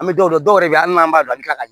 An bɛ dɔw yɛrɛ bɛ hali n'an b'a don an ti ka